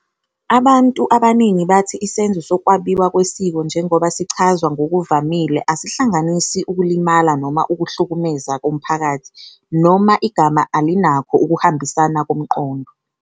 Abantu abaningi bathi isenzo sokwabiwa kwesiko njengoba sichazwa ngokuvamile asihlanganisi ukulimala noma ukuhlukumeza komphakathi, noma igama alinakho ukuhambisana komqondo.